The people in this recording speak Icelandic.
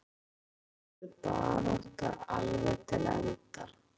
Það er gaman að þetta verður barátta alveg til enda.